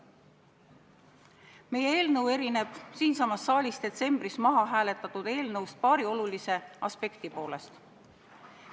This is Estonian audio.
Meie eelnõu erineb siinsamas saalis detsembris mahahääletatud eelnõust paari olulise aspekti poolest.